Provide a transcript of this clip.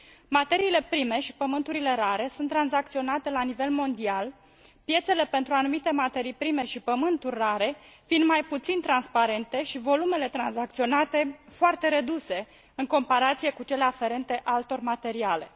Materiile prime și pământurile rare sunt tranzacționate la nivel mondial, piețele pentru anumite materii prime și pământuri rare fiind mai puțin transparente și volumele tranzacționate foarte reduse, în comparație cu cele aferente altor materiale.